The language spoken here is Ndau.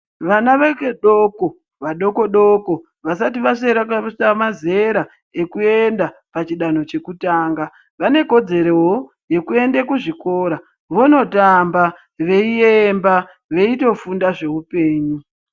Vana vechidoko, vadoko-doko vasati vasvera pakuita mazera ekuenda pachidanho chekutanga, vane kodzerowo yekuende kuzvikora vonotamba veiyemba veitofunda zveupenyu.